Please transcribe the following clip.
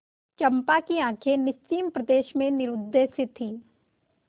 चंपा की आँखें निस्सीम प्रदेश में निरुद्देश्य थीं